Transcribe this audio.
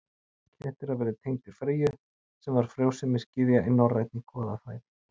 Kettir hafa verið tengdir Freyju sem var frjósemisgyðja í norrænni goðafræði.